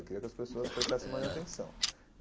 Eu queria que as pessoas prestassem mais atenção.